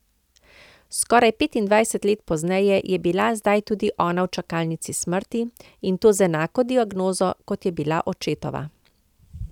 Skoraj petindvajset let pozneje je bila zdaj tudi ona v čakalnici smrti, in to z enako diagnozo, kot je bila očetova.